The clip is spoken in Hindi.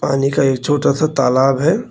पानी का एक छोटा सा तालाब है।